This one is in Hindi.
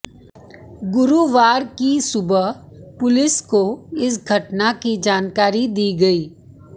गुस्र्वार की सुबह पुलिस को इस घटना की जानकारी दी गई